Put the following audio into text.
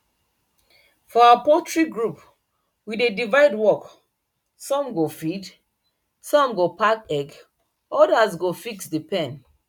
for our poultry group we dey divide work some go feed some go pack egg others go fix the pen